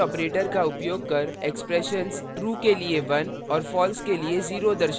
logical operators का उपयोग कर expressions true के लिए 1 और false के लिए 0 दर्शाता है